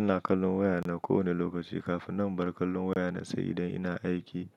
Ina kallon wayana kowane lokaci kafin na bar kallon wayana, sai idan ina aiki